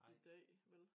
I dag vel